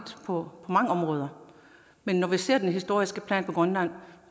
på mange områder men når vi ser den historiske plan for grønland